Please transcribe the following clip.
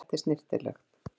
Þetta er snyrtilegt.